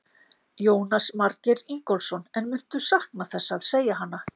Jónas Margeir Ingólfsson: En muntu sakna þess að segja hana?